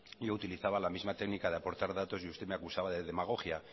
ya utilizaba la misma técnica de aportar datos y usted me acusaba de demagogia